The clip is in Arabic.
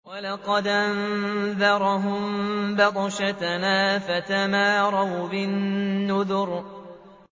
وَلَقَدْ أَنذَرَهُم بَطْشَتَنَا فَتَمَارَوْا بِالنُّذُرِ